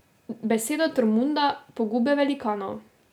Besedo Tormunda Pogube velikanov.